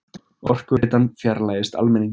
Orkuveitan fjarlægist almenning